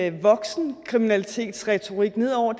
en voksenkriminalitetsretorik ned over